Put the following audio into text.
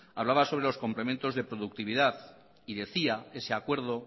hablaba sobre los complementos de productividad y decía ese acuerdo